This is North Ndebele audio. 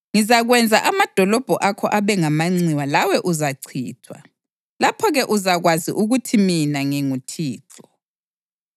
Ngizakwenza amadolobho akho abe ngamanxiwa lawe uzachithwa. Lapho-ke uzakwazi ukuthi mina nginguThixo.